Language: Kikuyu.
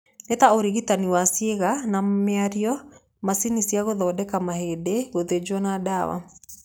Nĩ ta ũrigitani wa ciĩga na mĩario, macini cia gũthondeka mahĩndĩ, gũthinjwo na ndawa.